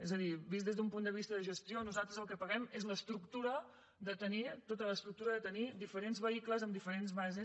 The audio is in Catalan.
és a dir vist des d’un punt de vista de gestió nosaltres el que paguem és tota l’estructura de tenir diferents vehicles amb diferents bases